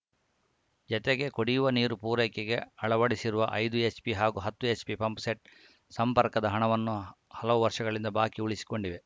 ಜತೆಗೆ ಕುಡಿಯುವ ನೀರು ಪೂರೈಕೆಗೆ ಅಳವಡಿಸಿರುವ ಐದು ಎಚ್‌ಪಿ ಹಾಗೂ ಹತ್ತು ಎಚ್‌ಪಿ ಪಂಪ್‌ಸೆಟ್‌ ಸಂಪರ್ಕದ ಹಣವನ್ನೂ ಹಲವು ವರ್ಷಗಳಿಂದ ಬಾಕಿ ಉಳಿಸಿಕೊಂಡಿದೆ